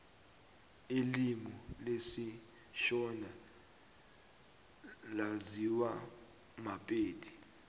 ilimi lesishona laziwa mapedi